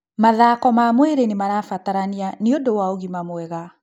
Mathako ma mwĩrĩ nĩmarabatarania nĩũndũ wa ũgima mwega